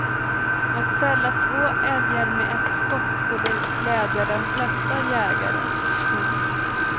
Att fälla två älgar med ett skott skulle glädja de flesta jägare. punkt